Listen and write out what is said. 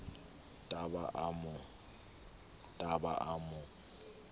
t a ba a mo